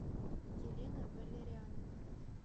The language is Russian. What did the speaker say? елена валериановна